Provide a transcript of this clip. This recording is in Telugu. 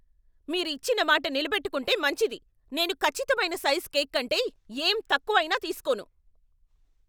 మీరు ఇచ్చిన మాట నిలబెట్టుకుంటే మంచిది. నేను ఖచ్చితమైన సైజు కేక్ కంటే ఏం తక్కువ అయినా తీస్కోను.